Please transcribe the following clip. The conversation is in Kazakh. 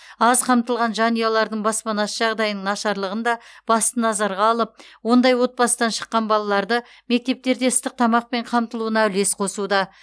аз қамтылған жанұялардың баспанасы жағдайының нашарлығын да басты назарға алып ондай отбасыдан шыққан балаларды мектептерде ыстық тамақпен қамтылуына үлес қосуда